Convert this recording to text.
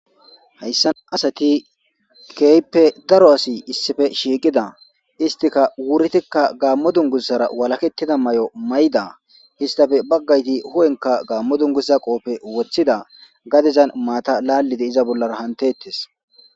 Hayssan asati kehippe daaro asay issipe shiqqida isttika wuritika gamo dungguzara walaketida mayo mayyida istappe baggay huphphenka gammo dunguza qoppe woththida gadezan maata lalidi iza bollara hanetetes.